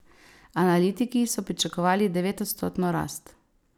Analitiki so pričakovali devetodstotno rast.